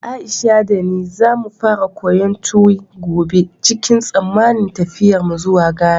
Aisha da ni za mu fara koyon Tuwi gobe cikin tsammanin tafiyarmu zuwa Ghana.